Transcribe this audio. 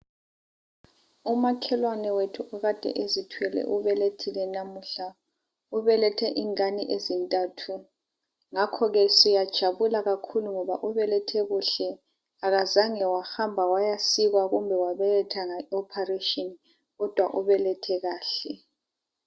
umakhelwane wethu okade ezithwele ubelethile namuhla ubelethe ingane ezintathu ngakho ke siyajabula kakhulu ubelethe ngoba kuhle akazange wahamba wayasikwa kumbe wabeletha nge operation kodwa ubelethe kahle